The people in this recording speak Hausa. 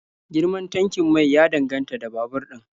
Girman tankin mai ya danganta da babur din